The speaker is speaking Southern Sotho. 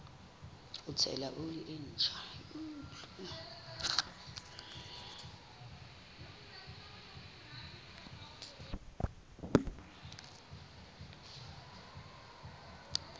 ho tshela oli e ntjha